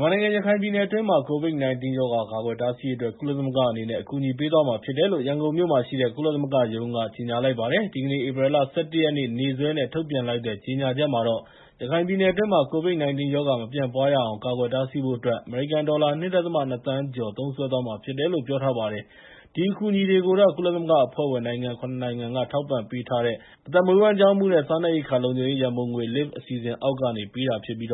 မြန်မာနိုင်ငံ ရခိုင်ပြည်နယ်တွင်းမှာ COVID-19 ရောဂါ ကာကွယ် တားဆီးရေးအတွက် ကုလသမဂ္ဂအနေနဲ့ အကူအညီတွေ ပေးသွားမှာ ဖြစ်တယ်လို့ ရန်ကုန်မြို့မှာရှိတဲ့ ကုလသမဂ္ဂရုံးက ကြေညာလိုက်ပါတယ်။ ဒီကနေ့ ဧပြီလ ၁၁ ရက် နေ့စွဲနဲ့ ထုတ်ပြန်လိုက်တဲ့ ကြေညာချက်မှာတော့ ရခိုင်ပြည်နယ်အတွင်းမှာ COVID-19 ရောဂါ မပြန့်ပွားရအောင် ကာကွယ်တားဆီးဖို့အတွက် အမေရိကန်ဒေါ်လာ ၂.၂ သန်းကျော် သုံးစွဲသွားမှာဖြစ်တယ်လို့ ပြောထားပါတယ်။ ဒီအကူအညီတွေကိုတော့ ကုလသမဂ္ဂအဖွဲ့ဝင်နိုင်ငံ ၇ နိုင်ငံက ထောက်ပံ့ပေးထားတဲ့ အသက်မွေးဝမ်းကျောင်းမှုနဲ့ စားနပ်ရိက္ခာလုံခြုံရေး ရန်ပုံငွေ (LIFT) အစီအစဉ်အောက်ကနေ ပေးတာဖြစ်ပြီး